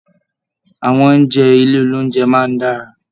Àwọn oúnjẹ ilé oloúnjẹ máa n dára.